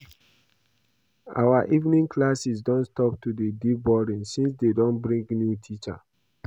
Our evening classes don stop to dey dey boring since dey bring new teacher